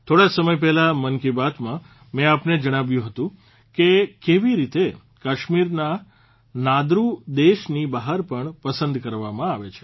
થોડા સમય પહેલાં મન કી બાતમાં મેં આપને જણાવ્યું હતું કે કેવી રીતે કશ્મીરનાં નાદરૂ દેશની બહાર પણ પસંદ કરવામાં આવે છે